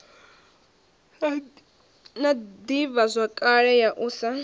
na ḓivhazwakale ya u sa